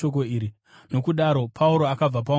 Nokudaro, Pauro akabva paungano iyi.